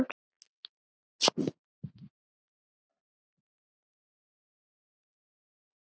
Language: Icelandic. spurði hann og brosti.